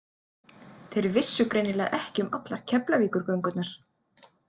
Þeir vissu greinilega ekki um allar Keflavíkurgöngurnar.